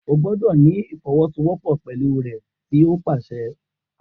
O gbọdọ ni ifọwọsowọpọ pẹlu rẹ ti o paṣẹ!